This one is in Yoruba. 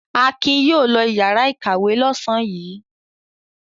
Akin yóò lọ ìyàrá-ìkàwé lọ́sàn-án yìí.